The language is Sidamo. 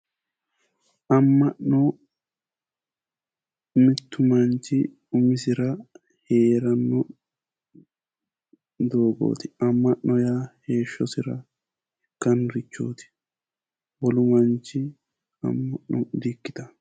Amma'no mittu manchi umisira heeranno doogooti Amma'no yaa heeshshosira ikkannnorichooti wolu manchi amma'no di ikkitanno.